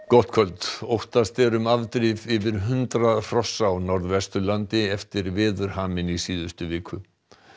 gott kvöld óttast er um afdrif yfir hundrað hrossa á Norðvesturlandi eftir veðurhaminn í síðustu viku